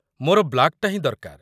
ମୋର ବ୍ଲାକ୍‌ଟା ହିଁ ଦରକାର ।